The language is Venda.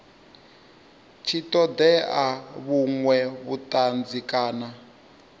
tshi ṱoḓea vhuṅwe vhuṱanzi kana